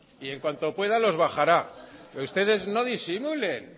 y en cuanto pueda los bajará pero ustedes no disimulen